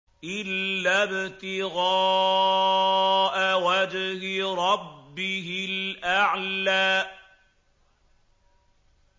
إِلَّا ابْتِغَاءَ وَجْهِ رَبِّهِ الْأَعْلَىٰ